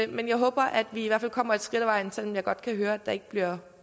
men jeg håber at vi i hvert fald kommer et skridt af vejen selv om jeg godt kan høre at der ikke bliver